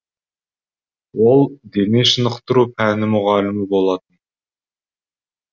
ол дене шынықтыру пәні мұғалімі болатын